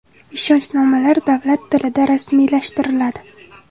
Ishonchnomalar davlat tilida rasmiylashtiriladi.